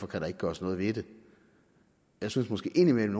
kan gøres noget ved det jeg synes måske indimellem